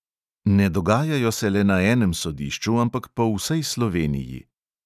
Ne dogajajo se le na enem sodišču, ampak po vsej sloveniji.